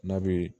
N'a bɛ